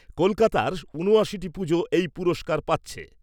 কলকাতার উনআশিটি পুজো এই পুরস্কার পাচ্ছে।